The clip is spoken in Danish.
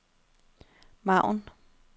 margen